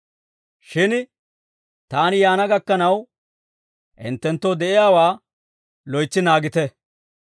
Shin taani yaana gakkanaw hinttenttoo de'iyaawaa loytsi naagite.